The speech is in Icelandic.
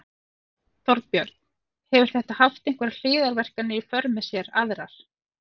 Þorbjörn: Hefur þetta haft einhverjar hliðarverkanir í för með sér aðrar?